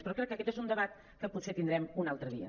però crec que aquest és un debat que potser tindrem un altre dia